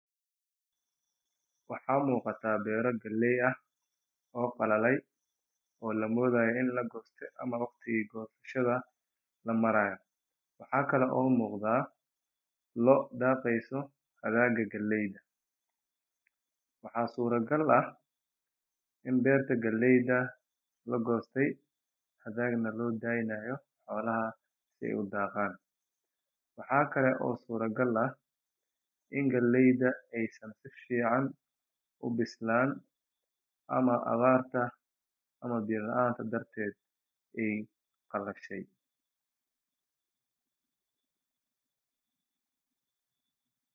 Waxa muuqata beera galeey ah oo qalee oo lamaleynayo in lagooste ama waqtiga gosashada, loo daqeyso agagaarka galeyda, waxaa suura gal ah in galeyda lagooste hadana loo daaye in xoolaha aay cunaan, waaxa kale oo suura gal in galeyda aay awar darteed aay qalashe.